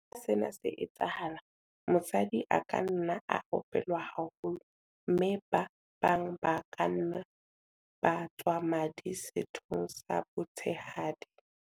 Ha sena se etsahala, mosadi a ka nna a opelwa haholo mme ba bang ba ka nna ba tswa madi sethong sa botshehadi.